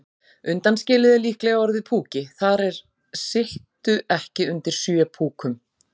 Undanskilið er líklega orðið púki, það er sittu ekki undir sjö púkum.